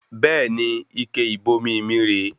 Bẹẹni, ike ìbomi mí rè é